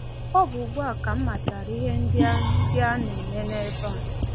Ọ bụ ugbu a ka m matara ihe ndị a ndị a na-eme ebe a.